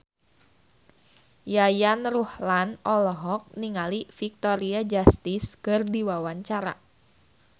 Yayan Ruhlan olohok ningali Victoria Justice keur diwawancara